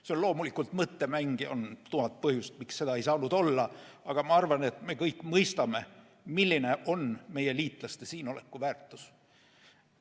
See on loomulikult mõttemäng ja on tuhat põhjust, miks seda ei saanud olla, aga ma arvan, et me kõik mõistame, milline on meie liitlaste siin oleku väärtus.